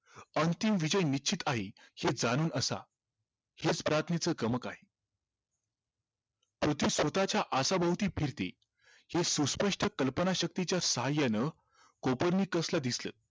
अंतिम विजय निश्चित आहे हे जाणून असा हेच च गमक आहे पृथ्वी स्वतःच्या आसाभोवती फिरते हे सुस्पष्ट कल्पनाशक्तीच्या सहाय्यान कोपर्निकसला दिसलं